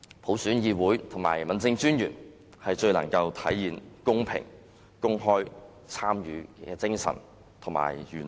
普選議會及區政專員最能體現公平、公開參與的精神和原則。